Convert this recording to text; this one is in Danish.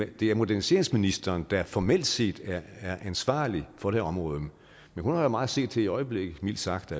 det er moderniseringsministeren der formelt set er ansvarlig for det her område men hun har jo meget at se til i øjeblikket mildt sagt